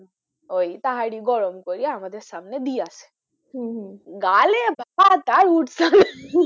ওই তাহারি গরম করে আমাদের সামনে দিয়েছে হম হম গালে ভাত আর উঠছে না ,